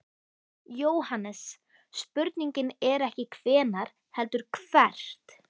JÓHANNES: Spurningin er ekki hvenær heldur hvert.